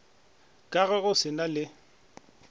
ka ge go se na